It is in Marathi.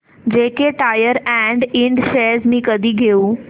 जेके टायर अँड इंड शेअर्स मी कधी घेऊ